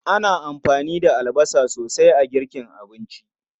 Ana amfani da albasa sosai a girkin abinci.